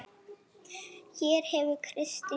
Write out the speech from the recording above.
Hér hefur Kristín leit.